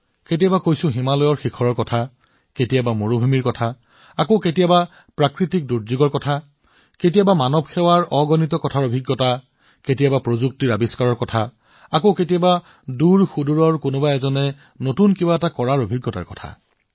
কেতিয়াবা নদীৰ বিষয়ে কেতিয়াবা মৰুভূমিৰ বিষয়ে কেতিয়াবা প্ৰাকৃতিক দুৰ্যোগৰ বিষয়ে কেতিয়াবা মানৱ সেৱাৰ অগণন কাহিনীৰ অনুভূতিৰ বিষয়ে কেতিয়াবা প্ৰযুক্তিৰ উদ্ভাৱনৰ বিষয়ে কেতিয়াবা অজ্ঞাত প্ৰান্তত কাৰোবাৰ নতুন কিবা কৰাৰ অভিজ্ঞতাৰ কাহিনী